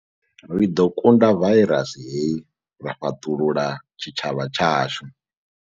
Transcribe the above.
Ri ḓo kunda vairasi hei ra fhaṱulula tshitshavha tshashu.